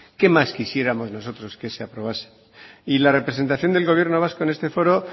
qué más quisiéramos nosotros que se aprobase y la representación del gobierno vasco en este foro